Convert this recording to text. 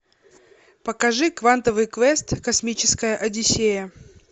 покажи квантовый квест космическая одиссея